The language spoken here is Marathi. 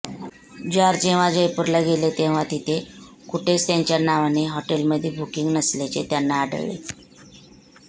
जॉर्ज जेव्हा जयपूरला गेले तेव्हा तिथे कुठेच त्यांच्या नावाने हॉटेलमध्ये बुकिंग नसल्याचे त्यांना आढळले